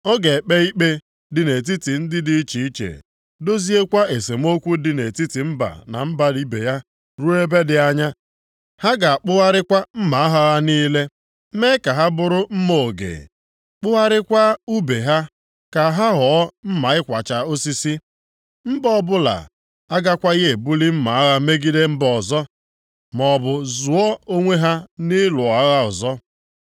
Ọ ga-ekpe ikpe dị nʼetiti ndị dị iche iche, doziekwa esemokwu dị nʼetiti mba na mba ibe ya ruo ebe dị anya. Ha ga-akpụgharịkwa mma agha ha niile, mee ka ha bụrụ mma oge, kpụgharịkwa ùbe ha ka ha ghọọ mma ịkwacha osisi. Mba ọbụla agakwaghị ebuli mma agha megide mba ọzọ, maọbụ zụọ onwe ha nʼịlụ agha ọzọ.